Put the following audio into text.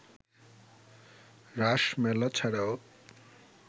রাস মেলা ছাড়াও